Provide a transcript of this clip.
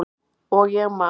Og ég man.